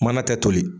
Mana kɛ toli